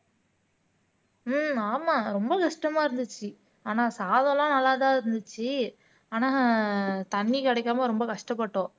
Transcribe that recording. ஹம் ஆமா ரொம்ப கஷ்டமா இருந்துச்சு ஆனா சாதம் எல்லாம் நல்லா தான் இருந்துச்சு ஆனா தண்ணி கிடைக்காம ரொம்ப கஷ்டப்பட்டோம்